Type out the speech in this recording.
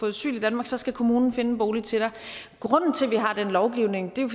asyl i danmark så skal kommunen finde en bolig til dig grunden til at vi har den lovgivning er jo